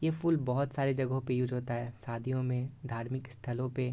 ये फूल बहोत सारे जगह पर उसे होता है शादियों में धार्मिक स्थलों पे।